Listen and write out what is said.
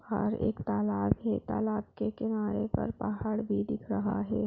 बाहर एक तालाब है तालाब के किनारे पर पहाड़ भी दिख रहा है।